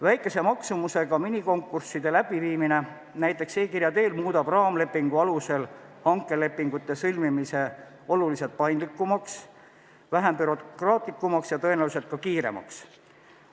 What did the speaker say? Väikese maksumusega minikonkursside läbiviimine näiteks e-kirja teel muudab raamlepingu alusel hankelepingute sõlmimise oluliselt paindlikumaks, vähem bürokraatlikuks ja tõenäoliselt ka kiiremaks.